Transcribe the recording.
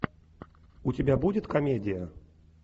у тебя будет комедия